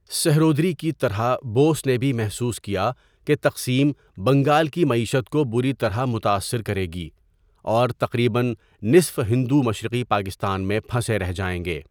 سہروردی کی طرح، بوس نے بھی محسوس کیا کہ تقسیم بنگال کی معیشت کو بری طرح متاثر کرے گی، اور تقریباً نصف ہندو مشرقی پاکستان میں پھنسے رہ جائیں گے۔